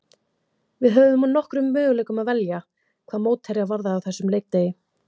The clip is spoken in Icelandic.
Við höfðum úr nokkrum möguleikum að velja hvað mótherja varðaði á þessum leikdegi.